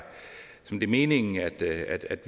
meningen at